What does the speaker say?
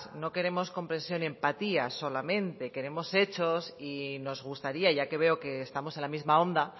no queremos comprensión y empatía solamente queremos hechos y nos gustaría ya que veo que estamos en la misma onda